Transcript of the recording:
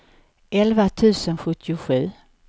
elva tusen sjuttiosju